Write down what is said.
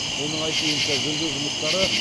оның айтуынша жөндеу жұмыстары